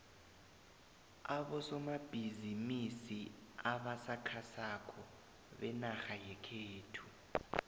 abosomabhizimisi abasakhasako benarha yekhethu